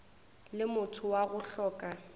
le motho wa go hloka